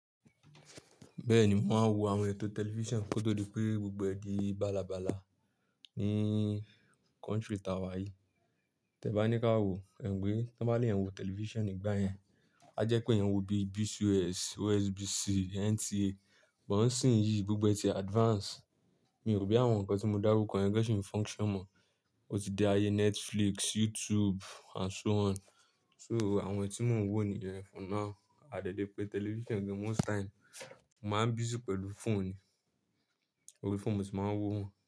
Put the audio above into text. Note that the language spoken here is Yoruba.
Bẹ́ẹ̀ni, mò ń wo àwọn ètò tẹlifíṣàn kó tó di pé gbogbo ẹ̀ di bala bala ní country tàwà yìí. Tẹ bá ní ká wo, ẹ̀ mo pe tan baa lè yan wo tẹlifíṣàn nígbà yẹn, á jẹ́ pé èèyàn wo bí BCS, OSBC, NTA. Bo nsinyi gbogbo ẹ ti advance. Mi ò ro bóyá àwọn nǹkan tí mo dárúkọ̀ yẹn gan ṣì ń function mọ̀. Ó ti di ayé Netflix, YouTube and so on. So àwọn tí mò ń wò níyẹn for now. A dẹ̀ lè pa television gan most time mo man busy pẹ̀lú phone ní orí phone ni moti man wò.